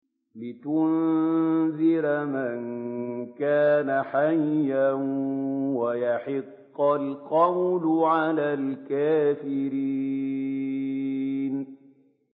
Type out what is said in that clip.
لِّيُنذِرَ مَن كَانَ حَيًّا وَيَحِقَّ الْقَوْلُ عَلَى الْكَافِرِينَ